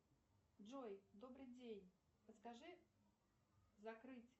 джой добрый день подскажи закрыть